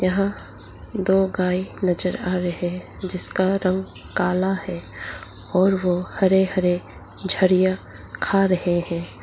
यहां दो गाय नजर आ रहे हैं जिसका रंग काला है और वो हरे हरे झरिया खा रहे हैं।